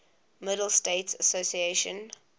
middle states association